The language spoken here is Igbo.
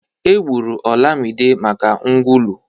Egburu Olamma maka nkwulu.